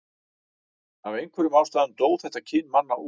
af einhverjum ástæðum dó þetta kyn manna út